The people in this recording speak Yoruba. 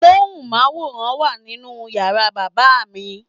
Móhùnmáwòrán wà nínú yàrá bàbá mi.